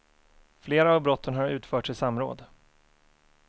Flera av brotten har utförts i samråd.